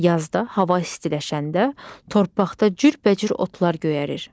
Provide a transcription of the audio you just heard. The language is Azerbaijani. Yazda hava istiləşəndə, torpaqda cürbəcür otlar göyərir.